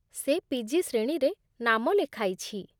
ସେ ପି.ଜି. ଶ୍ରେଣୀରେ ନାମ ଲେଖାଇଛି